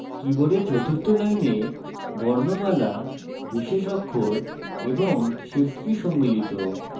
কীবোর্ডের চতুর্থ line বর্ণমালা বিশেষ অক্ষর এবং shift কী সম্মিলিত